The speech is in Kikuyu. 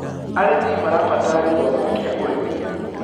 arĩmi marabatara githomo kĩa ũrĩmi